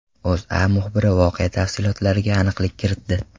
O‘zA muxbiri voqea tafsilotlariga aniqlik kiritdi .